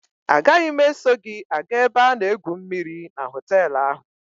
A gaghị m eso gị aga ebe a na-egwu mmịrị na họtelụ ahụ.